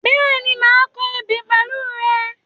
Bẹ́ẹ̀ni, màá kọ ebè pẹ̀lú rẹ.